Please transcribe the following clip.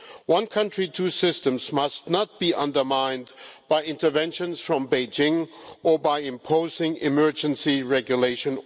One country, two systems' must not be undermined by intervention from Beijing or by imposing emergency regulations.